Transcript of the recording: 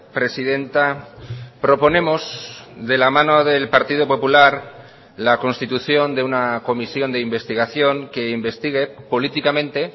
presidenta proponemos de la mano del partido popular la constitución de una comisión de investigación que investigue políticamente